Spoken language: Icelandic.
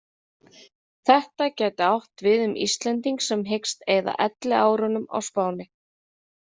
Þetta gæti átt við um Íslending sem hyggst eyða elliárunum á Spáni.